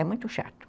É muito chato.